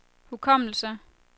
hukommelse